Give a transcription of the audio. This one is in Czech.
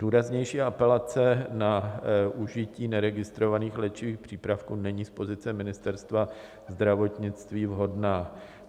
Důraznější apelace na užití neregistrovaných léčivých přípravků není z pozice Ministerstva zdravotnictví vhodná.